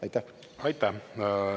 Aitäh!